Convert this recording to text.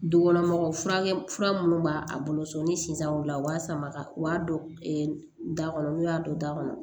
Dukɔnɔmɔgɔw furakɛ fura munnu b'a a bolo so ni sisan u b'a sama u b'a don da kɔnɔ n'u y'a don da kɔnɔ